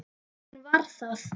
Hún var það.